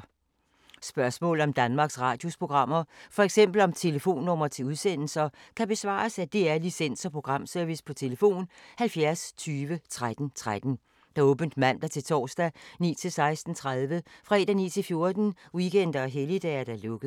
Spørgsmål om Danmarks Radios programmer, f.eks. om telefonnumre til udsendelser, kan besvares af DR Licens- og Programservice: tlf. 70 20 13 13, åbent mandag-torsdag 9.00-16.30, fredag 9.00-14.00, weekender og helligdage: lukket.